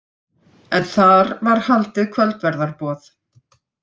En þar var haldið kvöldverðarboð